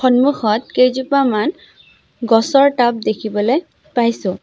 সন্মুখত কেইজোপামান গছৰ টাব দেখিবলৈ পাইছোঁ।